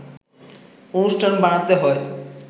অনুষ্ঠান বানাতে হয়